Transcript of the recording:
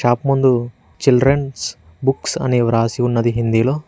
Shop ముందు children's books అని వ్రాసి ఉన్నది హిందీలో.